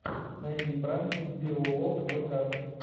найди пранки биоволквк